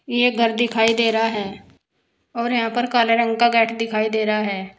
यह घर दिखाई दे रहा है और यहां पर काले रंग का गेट दिखाई दे रहा है।